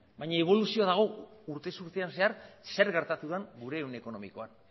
baina eboluzioa dago urtez urtean zehar zer gertatu den gure ehun ekonomikoan